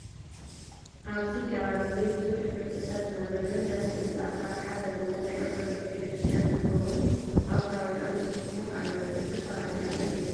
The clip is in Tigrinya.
ኣብዚ ከባቢ እዚ ብዙሕ ሕብረሰሰብ ዝነበረሉን ደስ ዝብ ኣሰራርሓ ዘለዎ ናይ ኦርቶዶክስ ቤተክርስትያን እውን ኣብ ከባቢኦም ሰሪሖም ኣለውን እዚ ከባቢ ኣበይ ይመስለኩም?